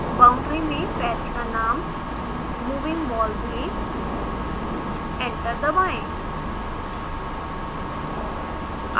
boundary में patch का नाम moving wall दें एंटर दबाएं